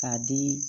K'a di